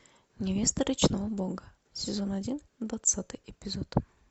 невеста речного бога сезон один двадцатый эпизод